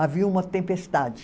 Havia uma tempestade.